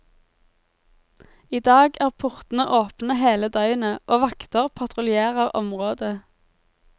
I dag er portene åpne hele døgnet, og vakter patruljerer området.